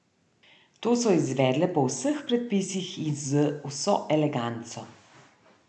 To so izvedle po vseh predpisih in z vso eleganco.